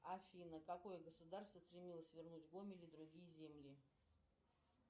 афина какое государство стремилось вернуть гомель и другие земли